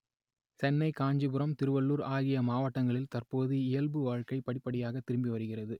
சென்னை காஞ்சிபுரம் திருவள்ளூர் ஆகிய மாவட்டங்களில் தற்போது இயல்பு வாழ்க்கை படிப்படியாக திரும்பி வருகிறது